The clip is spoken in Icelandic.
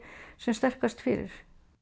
sem sterkast fyrir